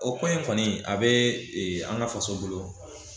O kuma in kɔni a be an ka faso bolo